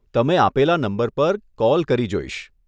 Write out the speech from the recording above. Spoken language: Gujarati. તમે આપેલા નંબર પર કૉલ કરી જોઈશ.